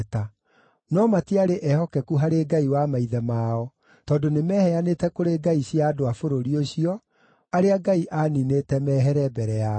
No matiarĩ ehokeku harĩ Ngai wa maithe mao, tondũ nĩmeheanĩte kũrĩ ngai cia andũ a bũrũri ũcio, arĩa Ngai aaniinĩte mehere mbere yao.